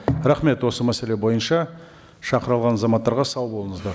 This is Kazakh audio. рахмет осы мәселе бойынша шақырылған азаматтарға сау болыңыздар